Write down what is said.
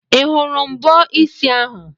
Ị hụrụ mbọ isi ahụ?